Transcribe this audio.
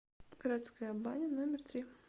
городская баня номер три